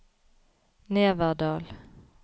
Neverdal